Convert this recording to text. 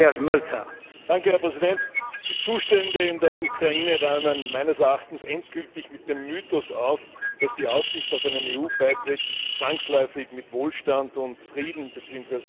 Herr Präsident! Die Zustände in der Ukraine räumen meines Erachtens endgültig mit dem Mythos auf, dass die Aussicht auf einen EU Beitritt zwangsläufig mit Wohlstand und Frieden bzw.